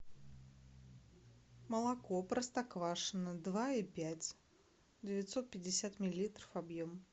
молоко простоквашино два и пять девятьсот пятьдесят миллилитров объем